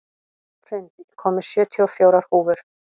Hrund, ég kom með sjötíu og fjórar húfur!